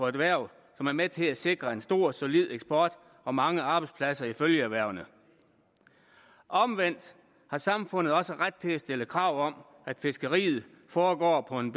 erhverv som er med til at sikre en stor solid eksport og mange arbejdspladser i følgeerhvervene omvendt har samfundet også ret til at stille krav om at fiskeriet foregår på en